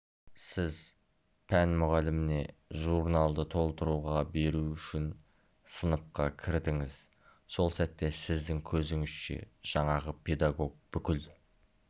сіз пән мұғаліміне журналды толтыруға беру үшін сыныпқа кірдіңіз сол сәтте сіздің көзіңізше жаңағы педагог бүкіл